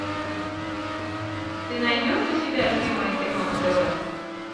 ты найдешь у себя любимое кино на тв